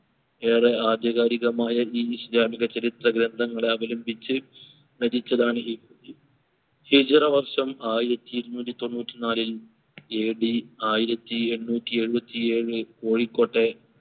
ഏറെ ആധികാരികമായ ഈ ഇസ്ലാമിക ചരിത്ര ഗ്രന്ഥങ്ങളെ അവലംബിച്ച് രചിച്ചതാണ് ഈ കൃതി ഹിജ്‌റ വർഷം ആയിരത്തി ഇരുനൂറ്റി തൊണ്ണൂറ്റി നാലിൽ AD ആയിരത്തി എണ്ണൂറ്റി എഴുപ്പത്തി ഏഴു കോഴിക്കോട്ടെ ഏറെ